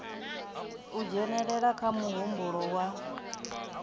u dzhenelela kha muhumbulo wa